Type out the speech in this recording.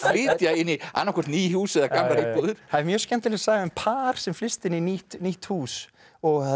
inn í annað hvort ný hús eða gamlar íbúðir það er mjög skemmtileg saga um par sem flyst inn í nýtt nýtt hús og